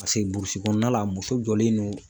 Paseke burusi kɔnɔna la muso jɔlen no